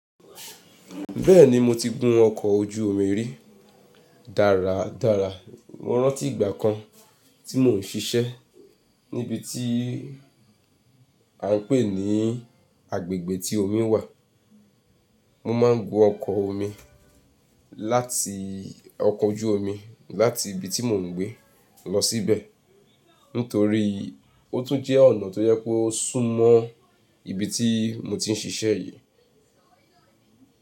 Bẹ́ẹ̀ni mo ti gun ọkọ̀ ojú omi rí. Dáradára, mo rántí ìgbà kan tí mò ń siṣẹ́ ní ibi tí à ń pè ní agbègbè tí omi wà, mo máa ń gun ọkọ̀ oju omi láti ibi tí mò ń gbé lọ síbẹ̀ nítorí ó tún jẹ́ ọ̀nà tó jẹ kó súnmọ́ ibi tí mo ti ń siṣẹ́ yí.